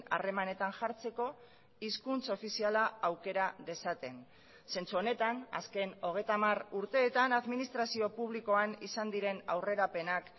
harremanetan jartzeko hizkuntz ofiziala aukera dezaten zentzu honetan azken hogeita hamar urteetan administrazio publikoan izan diren aurrerapenak